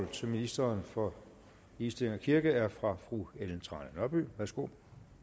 til ministeren for ligestilling og kirke er fra fru ellen trane nørby værsgo